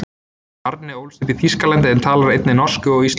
Arne ólst upp í Þýskalandi en talar einnig norsku og íslensku.